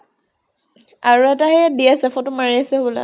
আৰু এটা সেইয়া দি আছে, photo মাৰি আছে হবলা